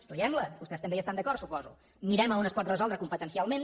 estudiem la vostès també hi estan d’acord suposo mirem on es pot resoldre competencialment